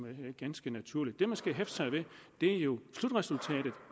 ganske naturligt det man skal hæfte sig ved er jo slutresultatet